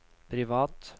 privat